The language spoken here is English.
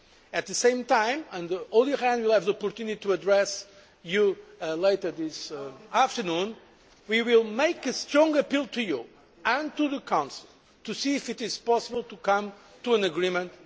At the same time and Olli Rehn will have the opportunity to address you later this afternoon we will make a strong appeal to you and to the Council to see if it is possible to come to a final agreement.